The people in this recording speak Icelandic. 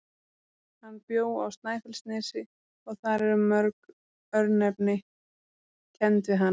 Hann bjó á Snæfellsnesi og þar eru mörg örnefni kennd við hann.